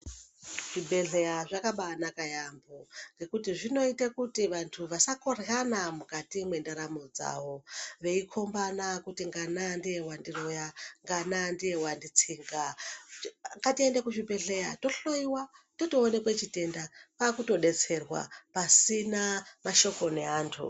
Zvibhedhleya zvakabaanaka yaambo ngekuti zvinoita kut vantu vasakoryana mukati mendaramo dzavo. Veikombana kuti ngana ndiye wandiroya, ngana ndiye wanditsinga. Ngatiende kuzvibhedhleya tohloyiwa, totoonekwe chitenda, kwaakutodetserwa pasina mashoko neantu.